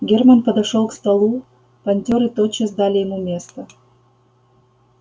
германн подошёл к столу понтёры тотчас дали ему место